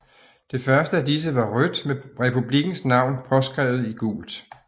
Det første af disse var rødt med republikkens navn påskrevet i gult